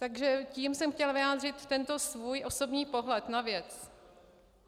Takže tím jsem chtěla vyjádřit tento svůj osobní pohled na věc.